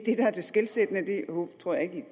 er det skelsættende nu tror jeg ikke